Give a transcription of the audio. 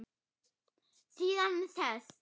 Síðan sest